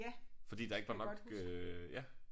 Fordi der ikke var nok øh ja